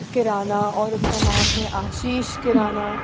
किराना और इसका नाम है आशीष किराना--